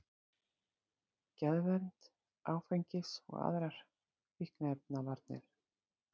Geðvernd, áfengis- og aðrar fíkniefnavarnir